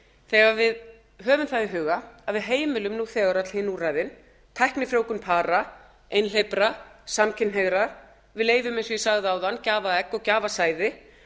þegar við höfum það í huga að við heimilum nú þegar öll hin úrræðin tæknifrjóvgun para einhleypra samkynhneigðra við leyfum eins og ég sagði áðan gjafaegg og gjafasæði